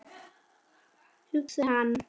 hugsar hann.